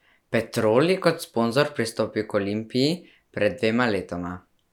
Petrol je kot sponzor pristopil k Olimpiji pred dvema letoma.